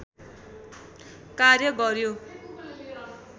कार्य गऱ्यो